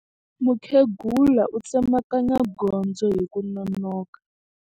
Mukhegula u tsemakanya gondzo hi ku nonoka.